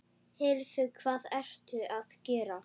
Heyrðu. hvað ertu að gera?